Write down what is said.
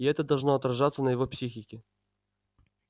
и это должно отражаться на его психике